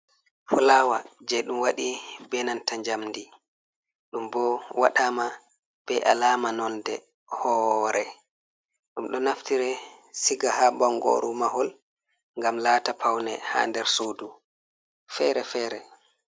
Fulaawa jey ɗum waɗi be nanta njamndi ɗum bo waɗaama be alaama nonde hoore. Ɗum ɗo naftire siga haa bonngooru mahol ,ngam laata pawne haa nder suudu fere-fere.